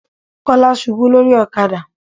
Kọ́lá ṣubú lórí ọ̀kadà.